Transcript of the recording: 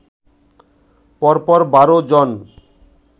পরপর ১২ জন